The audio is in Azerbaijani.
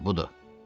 Hə, budur.